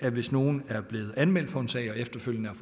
at hvis nogle er blevet anmeldt for en sag og efterfølgende